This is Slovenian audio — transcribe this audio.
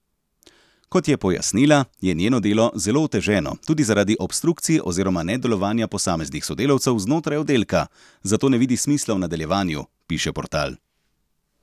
Kot je pojasnila, je njeno delo zelo oteženo tudi zaradi obstrukcij oziroma nedelovanja posameznih sodelavcev znotraj oddelka, zato ne vidi smisla v nadaljevanju, piše portal.